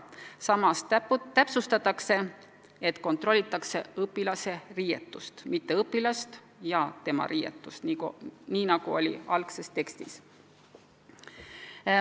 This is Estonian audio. Samas täpsustatakse, et kontrollitakse õpilase riietust, mitte õpilast ja tema riietust, nagu oli algses tekstis.